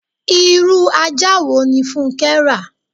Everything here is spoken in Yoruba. Irú ajá wo ní funke rà?